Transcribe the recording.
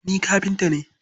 Ni kafinta ne.